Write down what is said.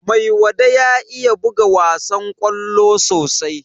Maiwada ya iya buga wasan ƙwallo sosai.